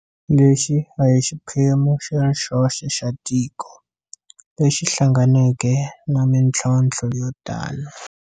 Lexi a hi xiphemu xi ri xoxe xa tiko lexi hlanganeke na mitlhontlho yo tano.